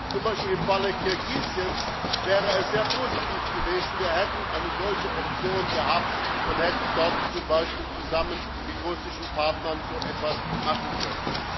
Zum Beispiel wäre es im Falle Kirgisistans sehr positiv gewesen, wir hätten eine solche Option gehabt und hätten dort, z. B. zusammen mit russischen Partnern, so etwas machen können.